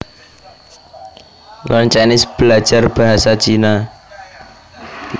Learn Chinese Belajar basa Cina